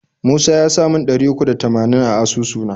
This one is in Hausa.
Musa yasa mun ɗari uku da tamanin a asusu na.